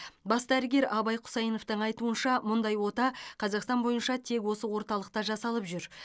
бас дәрігер абай құсайыновтың айтуынша мұндай ота қазақстан бойынша тек осы орталықта жасалып жүр